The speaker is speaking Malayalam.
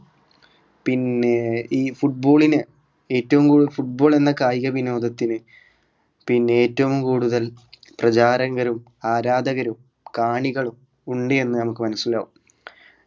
പിന്നെ ഈ football ന് ഏറ്റവും football എന്ന കായികവിനോദത്തിന് പിന്നെ ഏറ്റവും കൂടുതൽ പ്രചാരങ്കരും ആരാധകരും കാണികളും ഉണ്ട് എന്ന് നമുക്ക് മനസ്സിലാകും